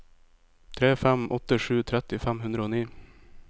tre fem åtte sju tretti fem hundre og ni